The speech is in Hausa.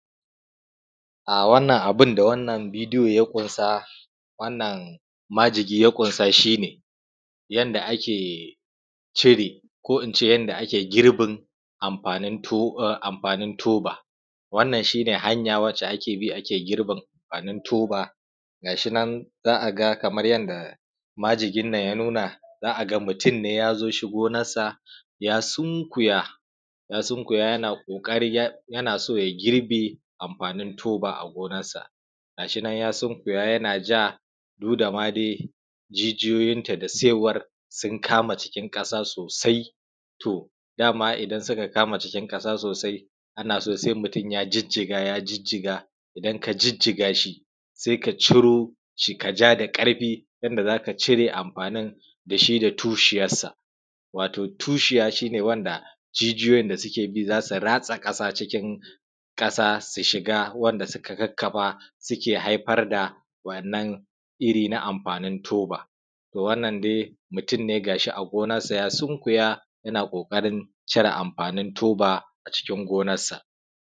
a wannan abin da wannan bidiyo ya ƙunsa wannan majigi ya ƙunsa shi ne yanda ake cire ko in ce yanda ake girbin amfanin toba wannan shi ne hanya wacce ake bi ake girbin amfanin toba ga shi nan za a ga kamar yanda majigin nan ya nuna za a ga mutum ne ya zo shi gonarsa ya sunkuya ya sunkuya yana ƙoƙari yana so ya girbe amfanin toba a gonarsa ga shi nan ya sunkuya yana ja duk da ma dai jijiyoyinta da saiwar sun kama jikin ƙasa sosai to dama idan suka kama jikin ƙasa sosai ana so sai mutum ya jijjiga ya jijjiga idan ka jijjiga shi sai ka ciro shi ka ja da ƙarfi yanda za ka cire amfanin da shi da tushiyarsa xx wato tushiya shi ne wanda jijiyoyin da suke bi za su ratsa ƙasa cikin ƙasa su shiga wanda suka kakkafa suke haifar da waɗannan iri na amfanin toba to wannan dai mutum ne ga shi a gonarsa ya sunkuya yana ƙoƙarin cire amfanin toba a cikin gonarsa